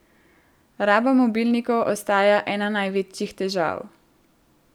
Raba mobilnikov ostaja ena največjih težav.